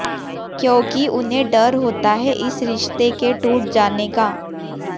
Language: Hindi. क्योंकि उन्हें डर होता है इस रिश्ते के टूट जाने का